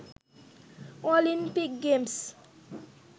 Olympic games,